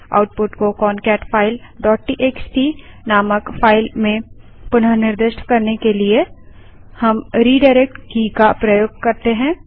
output को concatefileटीएक्सटी नामक फाइल में पुनः निर्दिष्ट करने के लिए हम redirectरिडाइरेक्ट की का प्रयोग कर सकते हैं